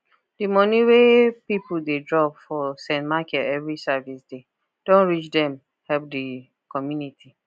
the money wey people dey drop for st michael every service day don reach them help the community